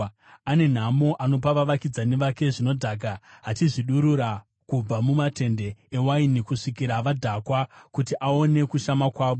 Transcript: “Ane nhamo anopa vavakidzani vake zvinodhaka, achizvidurura kubva mumatende ewaini kusvikira vadhakwa, kuti aone kushama kwavo.